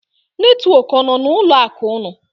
Netwọk ọ nọ n'ụlọ akụ ụnụ?